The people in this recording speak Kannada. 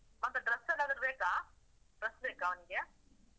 ಮತ್ತೆ dress ಏನಾದ್ರೂ ಬೇಕಾ? dress ಬೇಕಾ ಅವ್ನಿಗೆ?